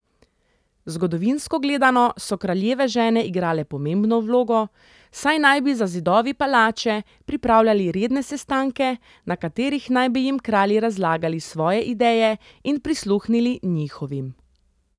Zgodovinsko gledano so kraljeve žene igrale pomembno vlogo, saj naj bi za zidovi palače pripravljali redne sestanke, na katerih naj bi jim kralji razlagali svoje ideje in prisluhnili njihovim.